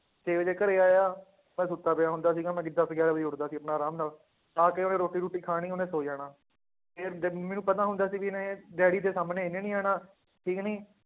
ਛੇ ਵਜੇ ਘਰੇ ਆਇਆ ਮੈਂ ਸੁੱਤਾ ਪਿਆ ਹੁੰਦਾ ਸੀਗਾ ਮੈਂ ਦਸ ਗਿਆਰਾਂ ਵਜੇ ਉੱਠਦਾ ਸੀ ਆਪਣਾ ਆਰਾਮ ਨਾਲ, ਆ ਕੇ ਉਹਨੇ ਰੋਟੀ ਰੂਟੀ ਖਾਣੀ ਉਹਨੇ ਸੌਂ ਜਾਣਾ ਮੈਨੂੰ ਪਤਾ ਹੁੰਦਾ ਸੀ ਵੀ ਇਹਨੇ ਡੈਡੀ ਦੇ ਸਾਹਮਣੇ ਇਹਨੇ ਨੀ ਆਉਣਾ ਠੀਕ ਨੀ